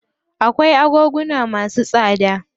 Akwai agoguna masu tsada.